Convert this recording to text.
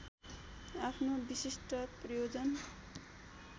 आफ्नो विशिष्ट प्रयोजन